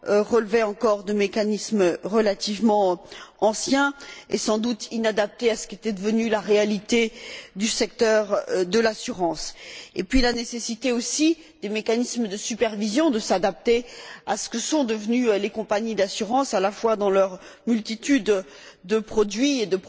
relevait encore de mécanismes relativement anciens et sans doute inadaptés à ce qu'était devenue la réalité du secteur de l'assurance, et puis mettre l'accent sur la nécessité pour les mécanismes de supervision de s'adapter à ce que sont devenues les compagnies d'assurance, à la fois dans leur multitude de produits et